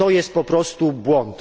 To jest po prostu błąd.